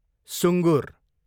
सुँगुर